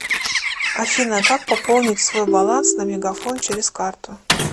афина как пополнить свой баланс на мегафон через карту